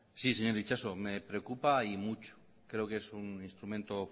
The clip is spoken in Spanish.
sí señor itxaso me preocupa y mucho creo que es un instrumento